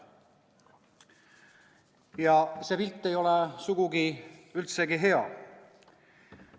Ja see pilt ei ole sugugi, üldsegi hea.